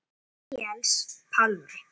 Níels Pálmi.